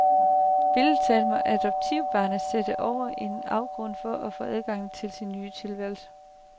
Billedlig talt må adoptivbarnet sætte over en afgrund for at få adgang til sin ny tilværelse.